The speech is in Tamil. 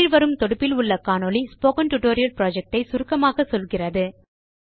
கீழ் வரும் தொடுப்பில் உள்ள காணொளி ஸ்போக்கன் டியூட்டோரியல் புரொஜெக்ட் ஐ சுருக்கமாக சொல்லுகிறது